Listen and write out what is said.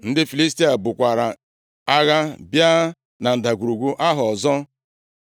Ndị Filistia bukwara agha bịa na ndagwurugwu ahụ ọzọ.